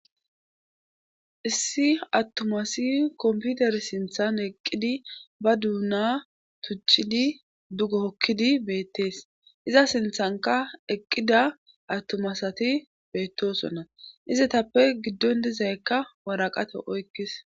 issi attumasi komputer sinthan eqqidi ba duuna tuchidi dugokkidi beettees iza sinthanka eqqida attumasati beettosonna izetappe giddon dizaykka waraqate oykkis